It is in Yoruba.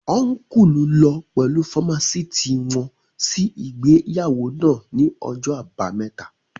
Ọ́nkùlù lọ pẹ̀lú fámásìtì wọn sí ìgbéyàwó náà ní ọjọ́ àbámẹ́ta